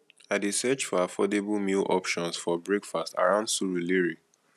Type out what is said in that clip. i dey search for affordable meal options for breakfast around surulere